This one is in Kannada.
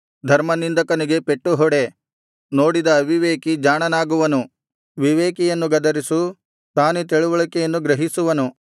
ಧರ್ಮನಿಂದಕನಿಗೆ ಪೆಟ್ಟುಹೊಡೆ ನೋಡಿದ ಅವಿವೇಕಿ ಜಾಣನಾಗುವನು ವಿವೇಕಿಯನ್ನು ಗದರಿಸು ತಾನೇ ತಿಳಿವಳಿಕೆಯನ್ನು ಗ್ರಹಿಸುವನು